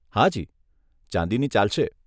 હાજી, ચાંદીની ચાલશે.